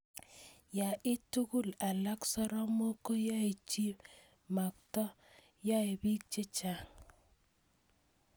Ye it tugul alak soromok koyae chii matko yai peek chechang'